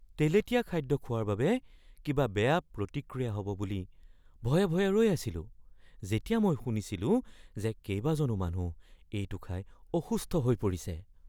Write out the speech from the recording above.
তেলেতীয়া খাদ্য খোৱাৰ বাবে কিবা বেয়া প্ৰতিক্ৰিয়া হ’ব বুলি ভয়ে ভয়ে ৰৈ আছিলো যেতিয়া মই শুনিছিলোঁ যে কেইবাজনো মানুহ এইটো খাই অসুস্থ হৈ পৰিছে।